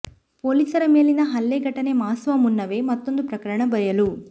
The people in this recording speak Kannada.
ಪೊಲೀಸರ ಮೇಲಿನ ಹಲ್ಲೆ ಘಟನೆ ಮಾಸುವ ಮುನ್ನವೇ ಮತ್ತೊಂದು ಪ್ರಕರಣ ಬಯಲು